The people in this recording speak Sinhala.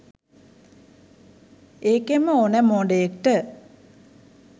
ඒකෙන්ම ඕන මෝඩයෙක්ට